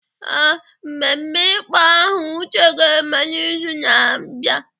Ee, mmemme ịkpọ aha Uche ga-eme n’izu na-abịa.